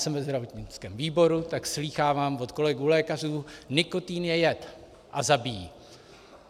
Jsem ve zdravotnickém výboru a slýchávám od kolegů lékařů: nikotin je jed a zabíjí.